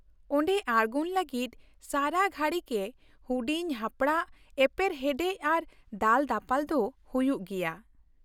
ᱚᱸᱰᱮ ᱟᱲᱜᱚᱱ ᱞᱟᱹᱜᱤᱫ ᱥᱟᱨᱟᱜᱷᱟᱹᱲᱤ ᱜᱮ ᱦᱩᱰᱤᱧᱼᱦᱟᱯᱲᱟᱜ ᱮᱯᱮᱨ ᱦᱮᱰᱮᱡᱽ ᱟᱨ ᱫᱟᱞᱼᱫᱟᱯᱟᱞ ᱫᱚ ᱦᱩᱭᱩᱜ ᱜᱮᱭᱟ ᱾